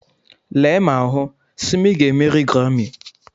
Lee ma hụ, Simi ga-emeri Garami.